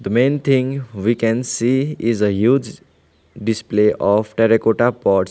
main thing we can see is a huge display of terracotta pots.